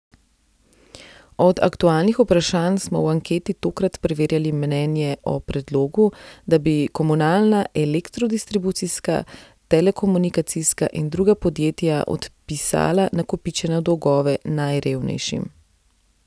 Od aktualnih vprašanj smo v anketi tokrat preverjali mnenje o predlogu, da bi komunalna, elektrodistribucijska, telekomunikacijska in druga podjetja odpisala nakopičene dolgove najrevnejšim.